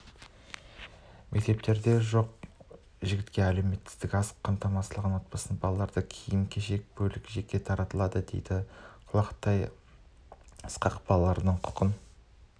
мектептерде жоқ-жітікке әлеуметтік аз қамтылған отбасының балаларына киім-кешек бөлек жеке таратылады деді құлатай ысқақ балалардың құқын